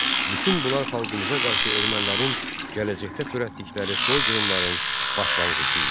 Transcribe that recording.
Bütün bunlar xalqımıza qarşı ermənilərin gələcəkdə törətdikləri soyqırımların başlanğıcı idi.